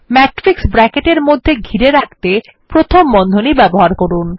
matrix ব্র্যাকেটের মধ্যে ঘিরে রাখতে প্রথম বন্ধনী ব্যবহার করুন